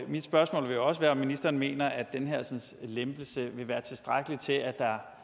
mit spørgsmål vil også være om ministeren mener at den her lempelse vil være tilstrækkelig til at